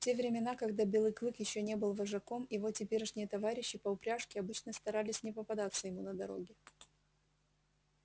в те времена когда белый клык ещё не был вожаком его теперешние товарищи по упряжке обычно старались не попадаться ему на дороге